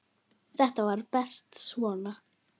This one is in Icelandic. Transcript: Þetta var best svona.